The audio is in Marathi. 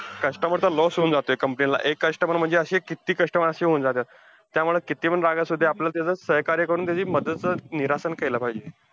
Customer चा loss होऊन जातोय company ला, एक customer म्हणजे अशे किती customer अशे होऊन जात्यात. त्यामुळे कितीपण राग असुदे आपल्याला त्याचं सहकार्य करून, त्याची मदत चं निरासन केलं पाहिजे.